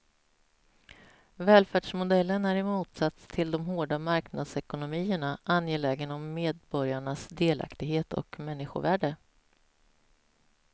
Välfärdsmodellen är i motsats till de hårda marknadsekonomierna angelägen om medborgarnas delaktighet och människovärde.